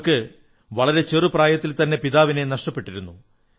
അവർക്ക് വളരെ ചെറു പ്രായത്തിൽത്തന്നെ പിതാവിനെ നഷ്ടപ്പെട്ടിരുന്നു